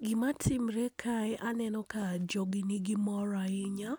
Gima timore kae aneno ka jogi nigi mor ahinya,